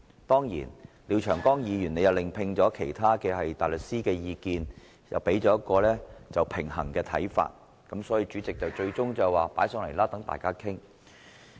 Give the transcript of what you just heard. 當然，廖長江議員亦另聘其他大律師提供意見，而他們亦提供了平衡的看法，故最終主席決定將議案提交到大會，讓大家討論。